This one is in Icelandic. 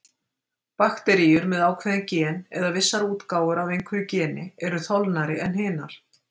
Bakteríur með ákveðin gen, eða vissar útgáfur af einhverju geni, eru þolnari en hinar.